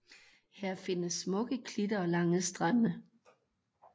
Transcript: Her findes smukke klitter og lange strande